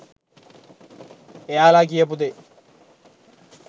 එයාලා කියපු දේ